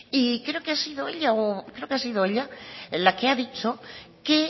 y creo que ha sido ella la que ha dicho que